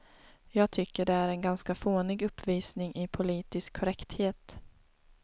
Jag tycker det är en ganska fånig uppvisning i politisk korrekthet.